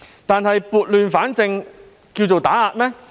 然而，撥亂反正是打壓嗎？